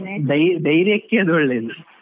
ಧೈ~ ಧೈರ್ಯಕ್ಕೆ ಅದು ಒಳ್ಳೇದು.